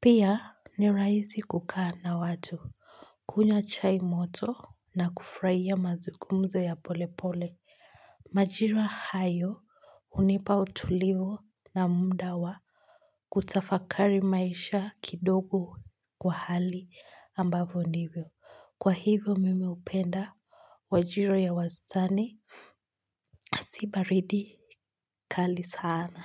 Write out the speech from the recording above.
Pia ni rahisi kukaa na watu. Kunywa chai moto na kufurahia mazungumzo ya polepole. Majira hayo hunipa utulivu na muda wa kutafakari maisha kidogo kwa hali ambavyo ndivyo. Kwa hivyo mimi hupenda wajira ya wastani si baridi kali sana.